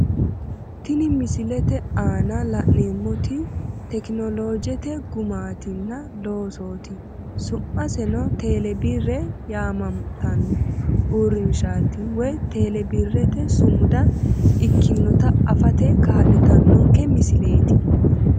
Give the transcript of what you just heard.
Tini misilete aana la'neemmoti tekinoloojete gumaatinna loosoti su'maseno tele birre yaammantano uurrinshshaati woy tele birrete sumuda ikkinota afate kaa'litannonke misileeti.